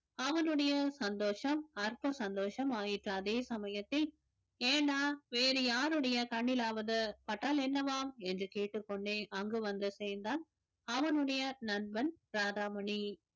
அவனுடைய சந்தோஷம் அற்ப சந்தோஷம் ஆயிற்று அதே சமயத்தில் ஏன்டா வேறு யாருடைய கண்ணிலாவது பட்டால் என்னவாம் என்று கேட்டுக் கொண்டேன் அங்கு வந்து சேர்ந்தான் அவனுடைய நண்பன்